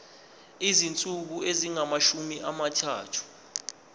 izinsuku ezingamashumi amathathu